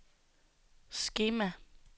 skema